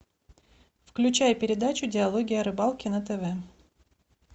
включай передачу диалоги о рыбалке на тв